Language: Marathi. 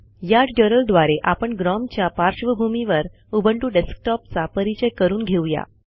या ट्युटोरियलद्वारे आपण ग्नोम च्या पार्श्वभूमीवर उबंटू डेस्कटॉपचा परीचय करून घेऊया